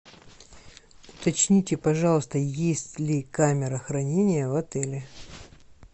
уточните пожалуйста есть ли камера хранения в отеле